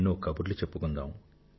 ఎన్నో కబుర్లు చెప్పుకుందాం